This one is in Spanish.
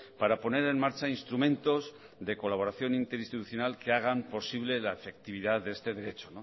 para poner en marcha instrumentos de colaboración interinstitucional que hagan posible la afectividad de este derecho